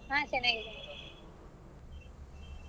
ಹಾ ಚೆನ್ನಾಗಿದ್ದಾರೆ .